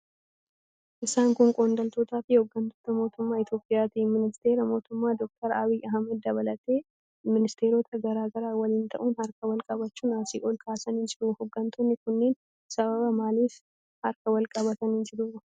Isaan kun qondaaltotaafi hooggantoota mootummaa Itiyoophiyaati. Ministeera muummee Dr. Abiy Ahmad dabalatee ministeerota garaa garaa waliin ta'uun harka wal qabachuun asii ol kaasanii jiru. Hooggantoonni kunneen sababa maaliif harka wal qabatanii jiru?